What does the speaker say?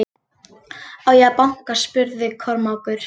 Á ég að banka spurði Kormákur.